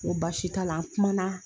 Ŋo baasi t'a la, an kumana